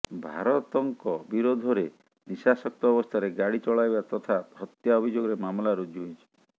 ଭାରତଙ୍କ ବିରୋଧରେ ନିଶାସକ୍ତ ଅବସ୍ଥାରେ ଗାଡି଼ ଚଳାଇବା ତଥା ହତ୍ୟା ଅଭିଯୋଗରେ ମାମଲା ରୁଜୁ ହୋଇଛି